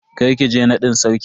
Kar ki je nadin Sarkin.